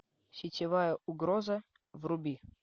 сетевая угроза вруби